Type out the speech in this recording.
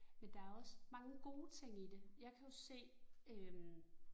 Men der også mange gode ting i det, jeg kan jo se øh